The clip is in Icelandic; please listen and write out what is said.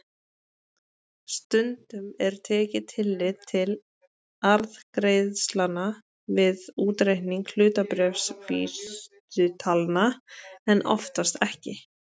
Stundum er tekið tillit til arðgreiðslna við útreikning hlutabréfavísitalna en oftast ekki.